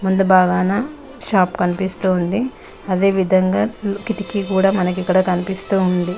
ముందు బాగానా షాప్ కనిపిస్తుంది అదే విదంగా కిటికీ కూడా మనకి కనిపిస్తుంది.